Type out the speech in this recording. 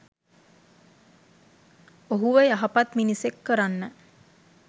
ඔහුව යහපත් මිනිසෙක් කරන්න